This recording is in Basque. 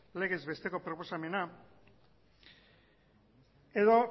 legez besteko proposamena edo